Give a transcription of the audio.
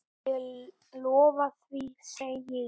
Ég lofa því, segi ég.